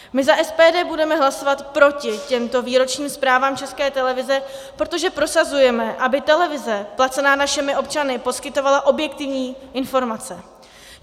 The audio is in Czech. My za SPD budeme hlasovat proti těmto výročním zprávám České televize, protože prosazujeme, aby televize placená našimi občany poskytovala objektivní informace.